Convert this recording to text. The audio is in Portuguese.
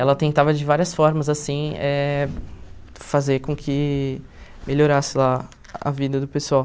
Ela tentava de várias formas, assim eh, fazer com que melhorasse lá a vida do pessoal.